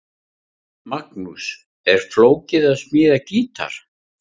Magnús: Er flókið að smíða gítar?